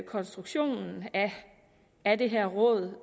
konstruktionen af det her råd